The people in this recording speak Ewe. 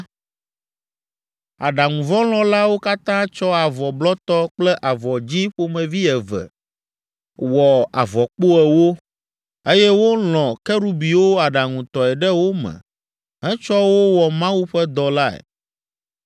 Aɖaŋuvɔlɔ̃lawo katã tsɔ avɔ blɔtɔ kple avɔ dzĩ ƒomevi eve wɔ avɔkpo ewo, eye wolɔ̃ Kerubiwo aɖaŋutɔe ɖe wo me hetsɔ wo wɔ Mawu ƒe dɔ lae.